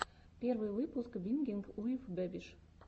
первый выпуск бингинг уив бэбиш